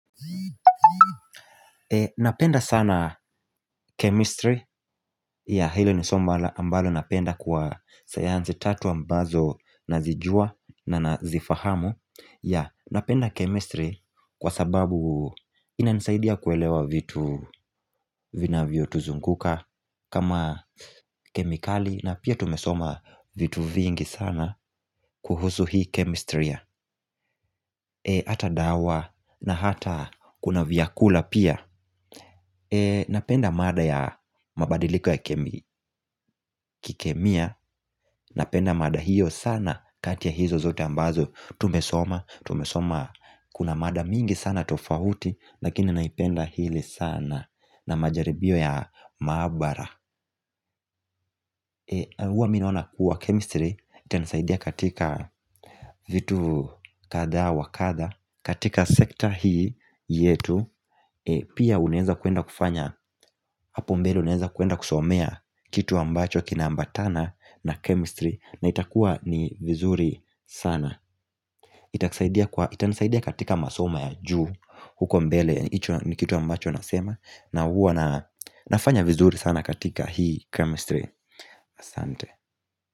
Napenda sana chemistry ya, hilo ni somo ambalo napenda kwa sayansi tatu ambazo na zijua na nazifahamu ya, napenda chemistry kwa sababu ina nisaidia kuelewa vitu vinavio tuzunguka kama kemikali na pia tumesoma vitu vingi sana kuhusu hii chemistry ata dawa na hata kuna vyakula pia Napenda mada ya mabadiliko ya kikemia Napenda mada hiyo sana kati ya hizo zote ambazo tumesoma, tumesoma kuna mada mingi sana tofauti Lakini naipenda hili sana na majaribio ya maabara huwa mimi naona kuwa chemistry Itanasaidia katika vitu kadha wa kadha katika sekta hii yetu. Pia unaeza kuenda kufanya Hapo mbele uneza kuenda kusomea kitu ambacho kina ambatana na chemistry na itakua ni vizuri sana itakusaidia kwa? Itanisaidia katika masoma ya juu huko mbele hicho ni kitu ambacho nasema na huwa na nafanya vizuri sana katika hii chemistry asante.